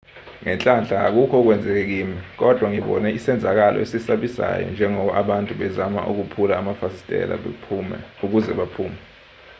ngenhlanhla akukho okwenzeke kimi kodwa ngibone isenzakalo esisabisayo njengoba abantu bezama ukuphula amafasitela ukuze baphume